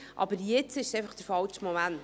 Aber jetzt ist es einfach der falsche Moment.